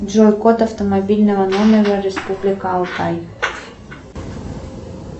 джой код автомобильного номера республика алтай